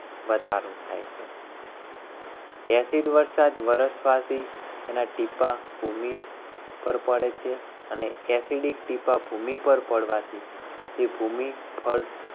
વધારો થાય છે. એના ટીંપા ભૂમિ પર પડે છે. અને એસિડિક ટીંબા ભૂમિ પર પડવાથી તે ભૂમિ ફળ